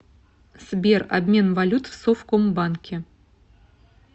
сбер обмен валют в совкомбанке